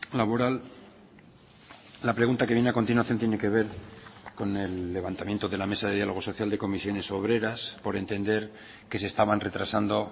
laboral la pregunta que viene a continuación tiene que ver con el levantamiento de la mesa de diálogo social de comisiones obreras por entender que se estaban retrasando